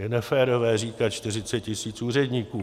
Je neférové říkat 40 tisíc úředníků.